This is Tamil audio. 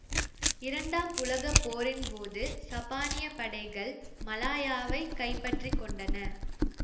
இரண்டாம் உலக போரின் போது சப்பானிய படைகள் மலாயாவைக் கைப்பற்றி கொண்டன